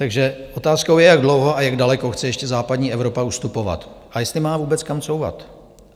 Takže otázkou je, jak dlouho a jak daleko chce ještě západní Evropa ustupovat a jestli má vůbec kam couvat.